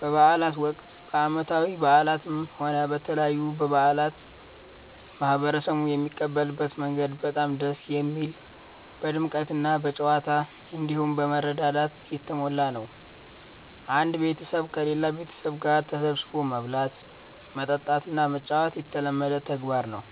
በበዓላት ወቅት፣ በዓመታዊ በዓላትም ሆነ በተለያዩ በዓላት ማህበረሰቡ የሚቀበልበት መንገድ በጣም ደስ የሚል፣ በድምቀትና በጨዋታ፣ እንዲሁም በመረዳዳት የተሞላ ነው። አንድ ቤተሰብ ከሌላ ቤተሰብ ጋር ተሰባስቦ መብላት፣ መጠጣትና መጫወት የተለመደ ተግባር ነው።